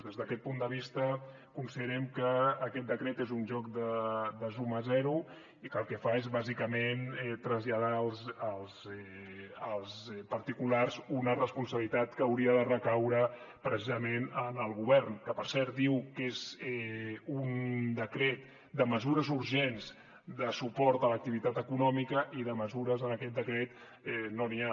des d’aquest punt de vista considerem que aquest decret és un joc de suma zero i que el que fa és bàsicament traslladar als particulars una responsabilitat que hauria de recaure precisament en el govern que per cert diu que és un decret de mesures urgents de suport a l’activitat econòmica i de mesures en aquest decret no n’hi ha